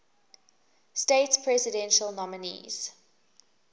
states presidential nominees